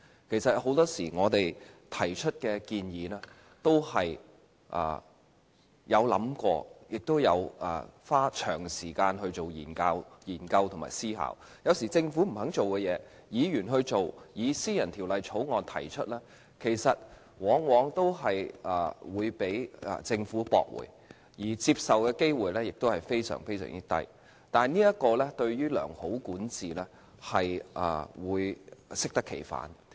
其實，很多時我們提出的建議，都花了長時間進行研究和思考，有時政府不肯做的事，議員去做，以私人條例草案方式提出，但往往被政府駁回，獲接納的機會非常低，這樣對於良好管治會適得其反。